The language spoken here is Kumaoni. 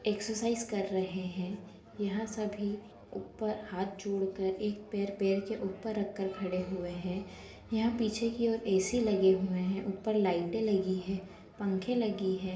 एक्ससाइज़ कर रहे हैं यहाँ सभी ऊपर हाथ जोड़ कर एक पैर पैर के ऊपर रख कर खड़े हुए हैं यहाँ पीछे की और ए.सी लगे हुए हैं ऊपर लाइटे लगी हैं पंखे लगी हैं।